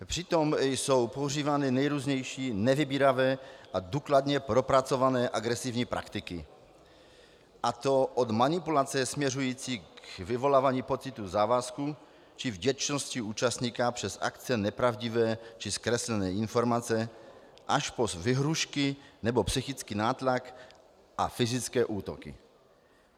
Přitom jsou používány nejrůznější nevybíravé a důkladně propracované agresivní praktiky, a to od manipulace směřující k vyvolávání pocitu závazku či vděčnosti účastníka přes akce nepravdivé či zkreslené informace až po výhrůžky nebo psychický nátlak a fyzické útoky.